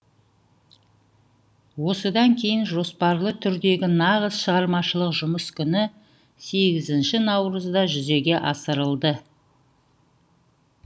осыдан кейін жоспарлы түрдегі нағыз шығармашылық жұмыс күні сегізінші наурызда жүзеге асырылды